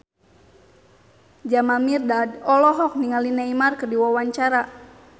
Jamal Mirdad olohok ningali Neymar keur diwawancara